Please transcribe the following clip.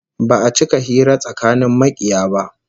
Ba'a cika hira tsakanin makiya ba